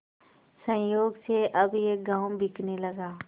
संयोग से अब यह गॉँव बिकने लगा